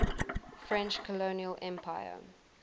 french colonial empire